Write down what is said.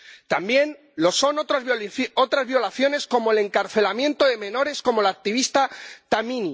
También lo son otras violaciones, como el encarcelamiento de menores como la activista Tamimi.